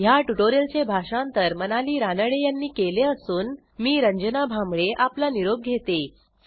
ह्या ट्युटोरियलचे भाषांतर मनाली रानडे यांनी केले असून मी आपला निरोप घेते160